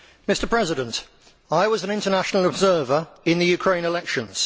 Mr President, I was an international observer in the Ukraine elections.